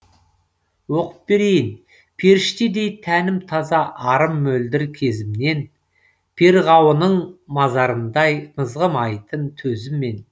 оқып берейін періштедей тәнім таза арым мөлдір кезімнен перғауының мазарындай мызғымайтын төзіммен